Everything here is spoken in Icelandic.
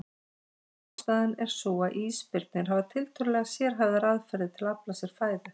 Ein ástæðan er sú að ísbirnir hafa tiltölulega sérhæfðar aðferðir til að afla sér fæðu.